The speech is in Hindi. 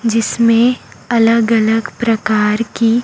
जिसमें अलग अलग प्रकार की--